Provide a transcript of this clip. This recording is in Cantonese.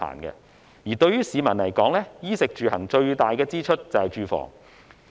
而對於市民來說，在衣食住行中，最大的支出是住房。